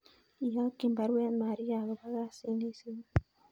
Iyokyin baruet Maria agobo kasit neisibu